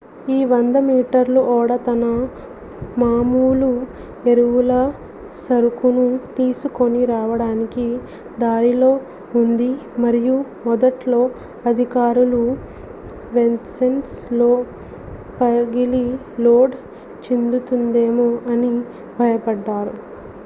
ఈ 100 మీటర్ల ఓడ తన మాములు ఎరువుల సరుకును తీసుకొని రావడానికి దారిలో ఉంది మరియు మొదట్లో అధికారులు వెస్సెల్ పగిలి లోడ్ చిందుతుందేమో అని భయపడ్డారు